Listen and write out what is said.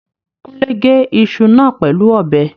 Kúnlé gé iṣu náà pẹ̀lú ọ̀bẹ